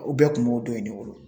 U bɛɛ kun b'o don in de bolo